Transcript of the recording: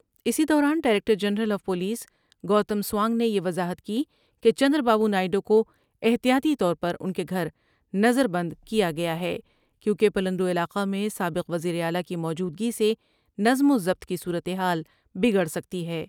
اس دوران director general of police Gautam Sawang نے یہ وضاحت کی کہ چند را با بونائیڈ وکو احتیاطی طور پران کے گھر نظر بند کیا گیاہے کیونکہ پلند وعلاقہ میں سابق وزیر اعلی کی موجودگی سے نظم وضبط کی صورتحال بگڑسکتی ہے ۔